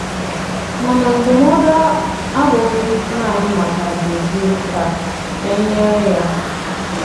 Màna ndụ̀mọ̀du à abụghị nanị maka Dòzìè kà e nyere ya.